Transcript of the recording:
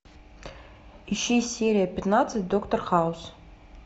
ищи серия пятнадцать доктор хаус